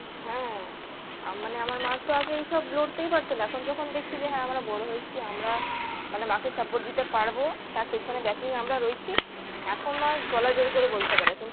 হ্যাঁ আ মানে আমার মার তো আগে এইসব লড়তেই পারতো না এখন যখন দেখছে যে হ্যাঁ আমরা বড়ো হয়েছি আমরা মানে মা কে support দিতে পারবো তার পিছনে backing এ আমরা রয়েছি এখন মা গলা জোড়ই করে বলতে পারে